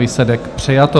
Výsledek: přijato.